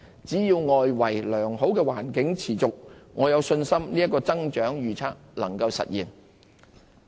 只要良好的外圍環境持續，我有信心這個增長預測能夠實現。